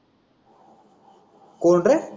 कोण रे.